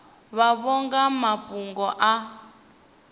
vhavho nga ha mafhungo a